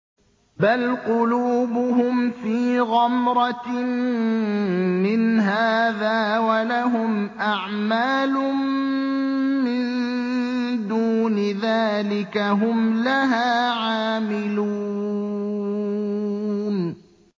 بَلْ قُلُوبُهُمْ فِي غَمْرَةٍ مِّنْ هَٰذَا وَلَهُمْ أَعْمَالٌ مِّن دُونِ ذَٰلِكَ هُمْ لَهَا عَامِلُونَ